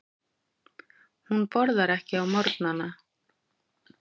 Hún borðar ekki á morgnana.